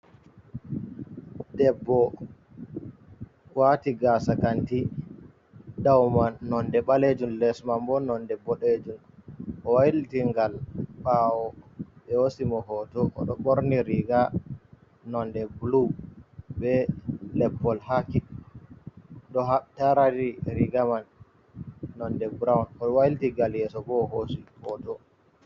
Debbo, waati gaasa kanti. Ɓawo man nonde ɓalejun, les man bo nonde boɗejun. O wailiti ngal ɓawo ɓe hoosimo hoto, o ɗo ɓorni riga nonde blu, be leppol haɓɓi ɗo tariri riga man nonde brown, o wailiti ngal yeso bo o hoosi hoto.